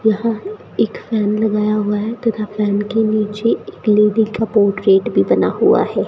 यहां एक फैन लगाया हुआ है तथा फैन के नीचे एक लेडी का बोर्ड गेट भी बना हुआ है।